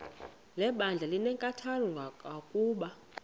lebandla linenkathalo kangangokuba